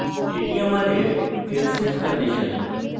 এটি আমাদের else if condition